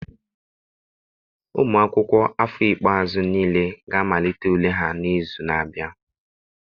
Ụmụ akwụkwọ afọ ikpeazụ niile ga-amalite ule ha n'izu na-abịa.